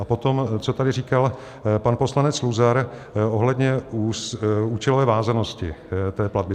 A potom co tady říkal pan poslanec Luzar ohledně účelové vázanosti té platby.